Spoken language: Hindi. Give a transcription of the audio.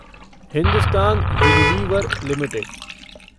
Hindustan Unilever limited